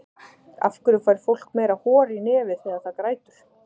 af hverju fær fólk meira hor í nefið þegar það grætur